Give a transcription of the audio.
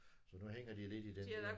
Så nu hænger de lidt i den der